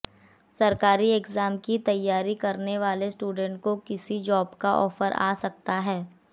सरकारी एग्जाम की तैयारी करने वाले स्टुडेंट को किसी जॉब का ऑफर आ सकता है